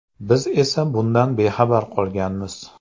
Biz esa bundan bexabar qolganmiz.